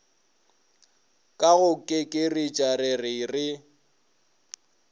ka go kekeretša rere re